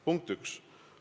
Punkt 1.